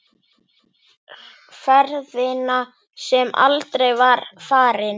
Ferðina sem aldrei var farin.